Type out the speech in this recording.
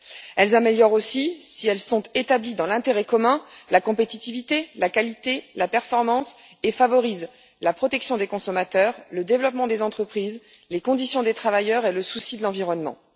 Elles améliorent aussi, si elles sont établies dans l'intérêt commun, la compétitivité, la qualité et la performance, et favorisent la protection des consommateurs, le développement des entreprises, les conditions des travailleurs et le souci de l'environnement.